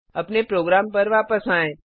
अपने प्रोग्राम पर वापस आएँ